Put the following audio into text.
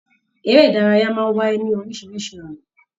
Eré ìdárayá máa n wáyé lorisirisi ọnà.